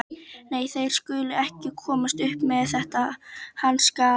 Nei, þeir skulu ekki komast upp með þetta, hann skal.